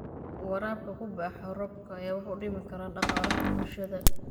Waraabka ku baxa roobka ayaa wax u dhimi kara dhaqaalaha bulshada.